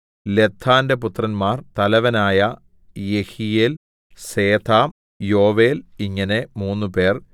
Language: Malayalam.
ലദ്ദാന്റെ പുത്രന്മാർ തലവനായ യെഹീയേൽ സേഥാം യോവേൽ ഇങ്ങനെ മൂന്നുപേർ